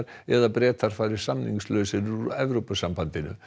eða Bretar fari samningslausir úr Evrópusambandinu